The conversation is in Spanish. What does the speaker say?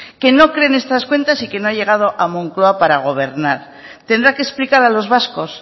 que no cree en estas cuentas y que no ha llegado a moncloa para gobernar tendrá que explicar a los vascos